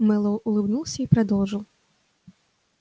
мэллоу улыбнулся и продолжил